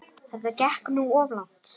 Þetta gekk nú of langt.